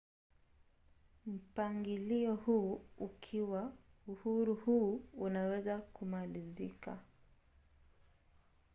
mpangilio huu ukiwa uhuru huu unaweza kumalizika